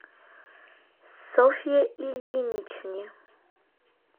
софье ильиничне